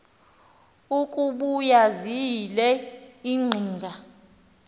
ukuba ziyile iqhinga